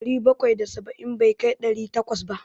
Ɗari bakwai da saba'in bai kai ɗari takwas ba.